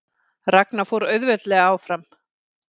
Ragna fór auðveldlega áfram